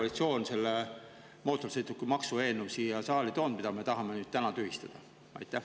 … nagu see mootorsõidukimaksu eelnõu, mille koalitsioon siia tõi ja mida me tahame täna tühistada?